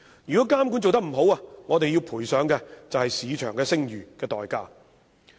如果監管做得不好，我們便要賠上市場聲譽作為代價。